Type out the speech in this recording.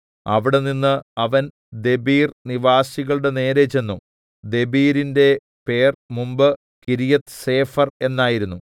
അവിടെനിന്ന് അവൻ ദെബീർ നിവാസികളുടെ നേരെ ചെന്നു ദെബീരിന്റെ പേർ മുമ്പെ കിര്യത്ത്സേഫെർ എന്നായിരുന്നു